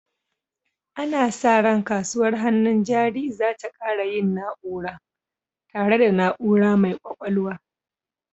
Ana sa ran kasuwar hannun jari za ta ƙara yin na'ura, tare da na'ura mai ƙwaƙwalwa.